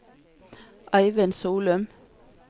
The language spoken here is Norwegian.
Eivind Solum